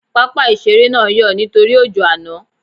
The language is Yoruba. Pápá ìṣeré náà ń yọ̀ nítorí ojó àná